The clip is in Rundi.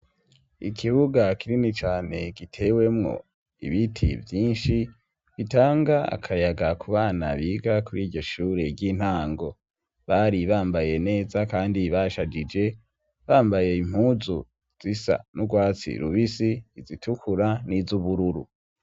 Ikibuga kinini cane gitewemwo ibiti vyinshi, bitanga akayaga ku bana biga kuri iryo shure ry'intango. Bari bambaye neza kandi bashajije, bambaye impuzu zisa n'urwatsi rubisi, izitukura n'iz'ubururu.